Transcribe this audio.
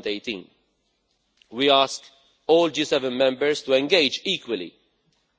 2018. We ask all G7 members to engage equally